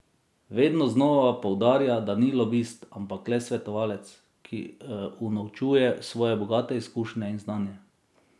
Vedno znova poudarja, da ni lobist, ampak le svetovalec, ki unovčuje svoje bogate izkušnje in znanje.